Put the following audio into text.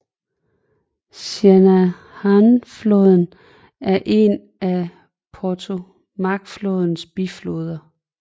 Shenandoahfloden er en af Potomacflodens bifloder